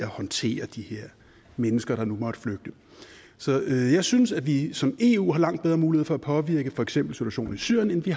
håndtere de her mennesker der nu måtte flygte så jeg synes at vi som af eu har langt bedre mulighed for at påvirke for eksempel situationen i syrien end vi